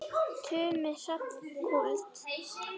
Tumi Hrafn Kúld.